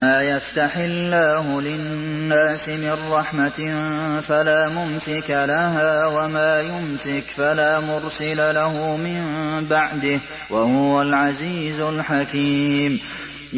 مَّا يَفْتَحِ اللَّهُ لِلنَّاسِ مِن رَّحْمَةٍ فَلَا مُمْسِكَ لَهَا ۖ وَمَا يُمْسِكْ فَلَا مُرْسِلَ لَهُ مِن بَعْدِهِ ۚ وَهُوَ الْعَزِيزُ الْحَكِيمُ